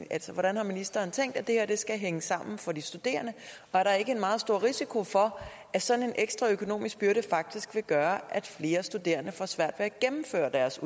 hvordan har ministeren tænkt det her skal hænge sammen for de studerende og er der ikke en meget stor risiko for at sådan en ekstra økonomisk byrde faktisk vil gøre at flere studerende får svært at gennemføre deres